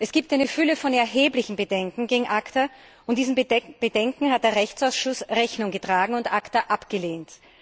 Es gibt eine Fülle von erheblichen Bedenken gegen ACTA, und diesen Bedenken hat der Rechtsausschuss Rechnung getragen und ACTA abgelehnt.